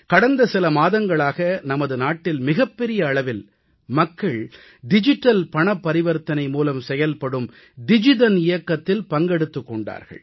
கடந்த சில மாதங்களாக நமது நாட்டில் மிகப்பெரிய அளவில் மக்கள் டிஜிட்டல் பணப்பரிவர்த்தனை மூலம் செயல்படும் டிஜிதன் இயக்கத்தில் பங்கெடுத்துக் கொண்டார்கள்